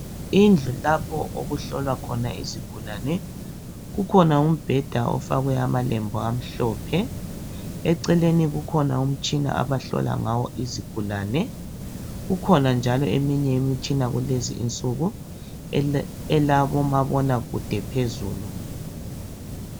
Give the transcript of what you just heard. Indlu lapho okuhlala khona isigulane. Kukhona umbheda ofakwe amalembu amhlophe. Eceleni ukhona umtshina abahlola ngawo izigulane, kukhona njalo imitshina elabomabonakude phezulu.